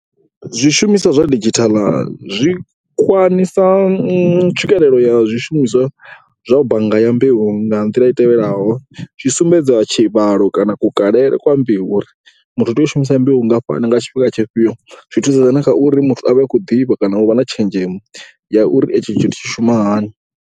Zwishumiswa zwa didzhithala zwi kwamisa tswikelelo ya zwishumiswa zwa bannga ya mbeu nga nḓila i tevhelaho, zwi sumbedza tshivhalo kana kukalele kwa mbeu uri muthu u tea u shumisa mbeu ngafhani nga tshifhinga tshifhio. Zwi thusedza na kha uri muthu a vhe a khou ḓivha kana u vha na tshenzhemo ya uri itshi tshithu tshi shuma hani.